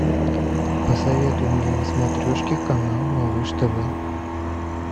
посоветуй мне на смотрешке канал малыш тв